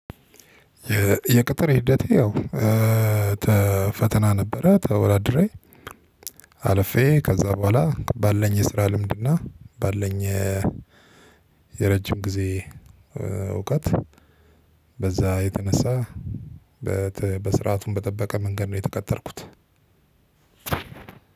የቅጥር ሂደቴ ያው ፈተና ነበረ ተወዳድሬ አለፌ፤ ከዛ በኋላ ባለኝ የስራ ልምድና ባለኝ የረጅም ጊዜ እውቀት በዛ የተነሳ በስርዓቱን በጠበቀ መንገድ ነው የተቀጠርኩት።